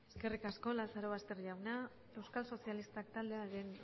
eskerrik asko lazarobaster jauna euskal sozialistak taldearen